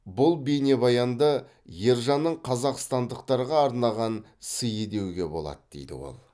бұл бейнебаянды ержанның қазақстандықтарға арнаған сыйы деуге болады дейді ол